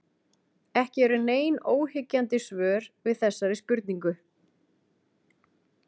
Ekki eru nein óyggjandi svör við þessari spurningu.